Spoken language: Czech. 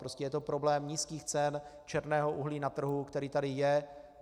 Prostě je to problém nízkých cen černého uhlí na trhu, který tady je.